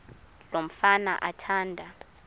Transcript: lo mfana athanda